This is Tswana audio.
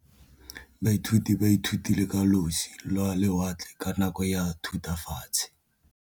Baithuti ba ithutile ka losi lwa lewatle ka nako ya Thutafatshe.